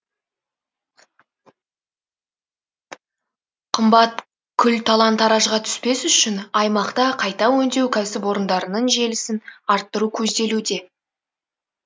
қымбат күл талан таражға түспес үшін аймақта қайта өңдеу кәсіпорындарының желісін арттыру көзделуде